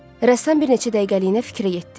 Rəssam bir neçə dəqiqəliyinə fikrə getdi.